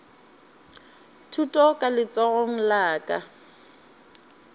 thuto ka letsogong la ka